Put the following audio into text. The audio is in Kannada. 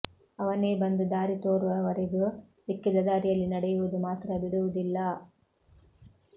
ಅವನೇ ಬಂದು ದಾರಿ ತೋರುವ ವರೆಗೂ ಸಿಕ್ಕಿದ ದಾರಿಯಲ್ಲಿ ನಡೆಯುವುದು ಮಾತ್ರ ಬಿಡುವುದಿಲ್ಲ